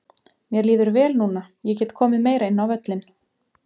Mér líður vel núna, ég get komið meira inn á völlinn.